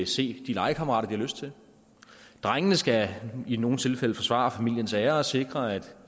se de legekammerater har lyst til drengene skal i nogle tilfælde forsvare familiens ære og sikre at